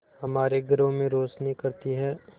हमारे घरों में रोशनी करती है